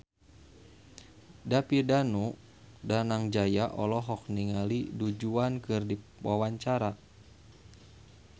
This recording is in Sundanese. David Danu Danangjaya olohok ningali Du Juan keur diwawancara